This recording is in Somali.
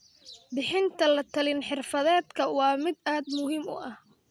Bixinta la-talin-xirfadeedka waa mid aad muhiim u ah.